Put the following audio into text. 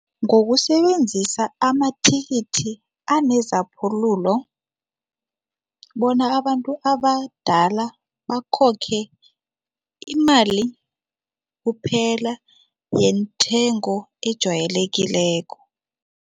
Ngokusebenzisa amathikithi anezaphulule bona abantu abadala bakhokhe imali kuphela yenthengo ejwayelekileko.